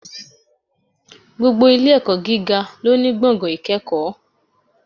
Gbogbo Ilé ẹ̀kọ́ gíga lóní gbọ̀ngàn ìkẹ́kọ̀ọ́